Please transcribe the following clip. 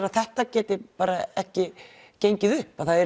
að þetta geti bara ekki gengið upp að það